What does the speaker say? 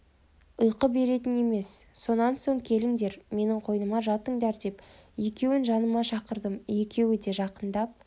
ұйқы беретін емес сонан соң келіңдер менің қойныма жатыңдар деп екеуін жаныма шақырдым екеуі де жақындап